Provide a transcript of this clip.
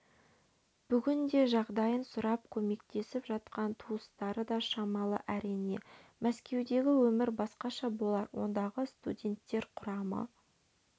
бүгінде жағдайын сұрап көмектесіп жатқан туыстары да шамалы әрине мәскеудегі өмір басқаша болар ондағы студенттер құрамы